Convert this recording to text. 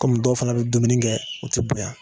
Kɔmi dɔw fana bi dumuni kɛ, u ti bonya